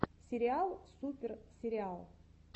сериал супер сериал